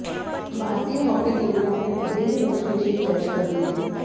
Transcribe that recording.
भारतीय hockey team ने अपने पहले ही मैच में जीत दर्ज कर ली है